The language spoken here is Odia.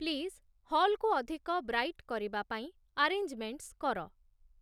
ପ୍ଳିଜ୍‌ ହଲ୍‌କୁ ଅଧିକ ବ୍ରାଇଟ୍‌ କରିବା ପାଇଁ ଆରେଞ୍ଜ୍‌ମେଣ୍ଟ୍‌ସ୍‌ କର